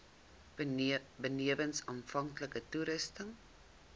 benewens aanvanklike toetsings